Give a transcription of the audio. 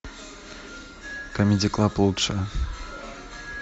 камеди клаб лучшее